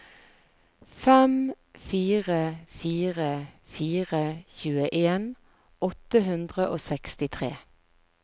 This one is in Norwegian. fem fire fire fire tjueen åtte hundre og sekstitre